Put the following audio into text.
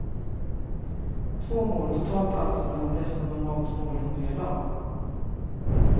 Två mål totalt alltså mellan dessa normalt målhungriga lag.